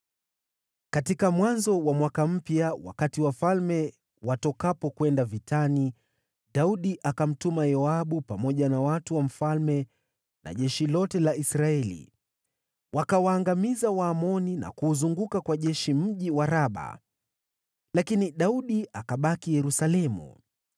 Katika mwanzo wa mwaka mpya, wakati wafalme watokapo kwenda vitani, Daudi akamtuma Yoabu pamoja na watu wa mfalme na jeshi lote la Israeli. Wakawaangamiza Waamoni na kuuzunguka kwa jeshi mji wa Raba. Lakini Daudi akabaki Yerusalemu.